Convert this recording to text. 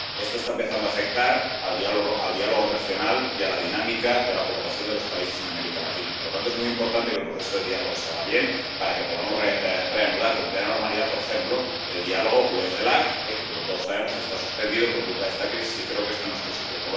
Esto está empezando a afectar al diálogo regional y a la dinámica de la cooperación de los países en América Latina y, por lo tanto, es muy importante que el proceso de diálogo salga bien, para que podamos reanudar con plena normalidad, por ejemplo, el diálogo UE CELAC, que, como todos sabemos, está suspendido por culpa de esta crisis y creo que esto no es positivo.